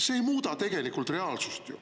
See ei muuda ju reaalsust.